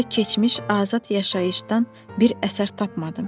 Orada keçmiş azad yaşayışdan bir əsər tapmadım.